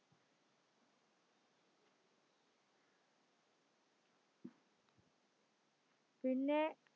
പിന്നെ